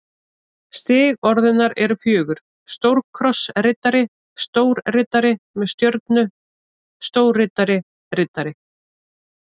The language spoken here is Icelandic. Stig orðunnar eru fjögur: stórkrossriddari stórriddari með stjörnu stórriddari riddari